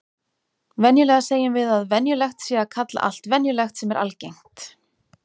Venjulega segjum við að venjulegt sé að kalla allt venjulegt sem er algengt.